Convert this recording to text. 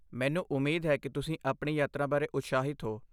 ਮੈਨੂੰ ਉਮੀਦ ਹੈ ਕਿ ਤੁਸੀਂ ਆਪਣੀ ਯਾਤਰਾ ਬਾਰੇ ਉਤਸ਼ਾਹਿਤ ਹੋ।